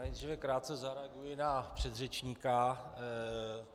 Nejdříve krátce zareaguji na předřečníka.